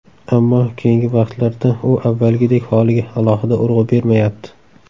Ammo keyingi paytlarda u avvalgidek holiga alohida urg‘u bermayapti.